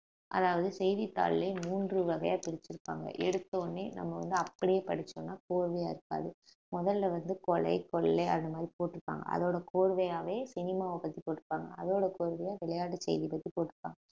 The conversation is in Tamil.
அதாவது செய்தித்தாள்லையே மூன்று வகையா பிரிச்சிருப்பாங்க எடுத்தவுடனே நம்ம வந்து அப்படியே படிச்சோம்ன்னா கோர்வையா இருக்காது முதல்ல வந்து கொலை கொள்ளை அந்த மாதிரி போட்டிருப்பாங்க அதோட கோர்வையாவே cinema வப் பத்தி போட்டிருப்பாங்க அதோட கோர்வையா விளையாட்டு செய்தி பத்தி போட்டிருப்பாங்க